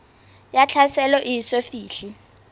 ya tlhaselo e eso fihle